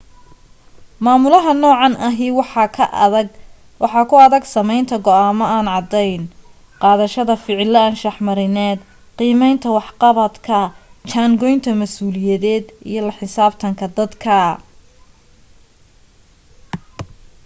maamulaha noocan ahi waxaa ku adag samaynta go'aamo aan cadayn qaadashada ficilo anshax marineed qiimaynta waxqabadka jaan goynta masuuliyadeed iyo la xisaabtanka dadka